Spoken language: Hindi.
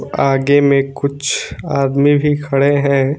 आगे में कुछ आदमी भी खड़े हैं।